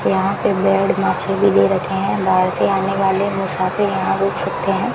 यहां पे बेड भी दे रखे हैं बाहर से आने वाले मुसाफिर यहां रुक सकते हैं।